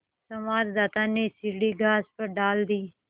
संवाददाता ने सीढ़ी घास पर डाल दी